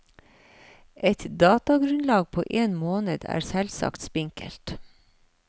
Et datagrunnlag på én måned er selvsagt spinkelt.